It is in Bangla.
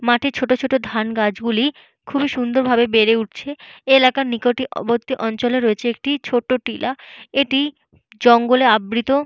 মাঠে ছোট ছোট ধান গাছগুলি খুবই সুন্দর ভাবে বেড়ে উঠছে। এই এলাকার নিকটবর্তী অঞ্চলে রয়েছে একটি ছোট টিলা। এটি জঙ্গল-এ আবৃত।